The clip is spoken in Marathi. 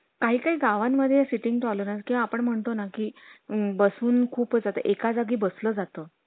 काही काही गावं मध्ये sitting tolerance किंवा आपण महाडतो ना कि बसून खूप एका जागी बसलं जातं